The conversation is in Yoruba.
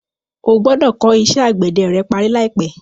O gbọ́dọ̀ kọ́ iṣẹ́ àgbẹ̀dẹ rẹ parí láìpẹ́.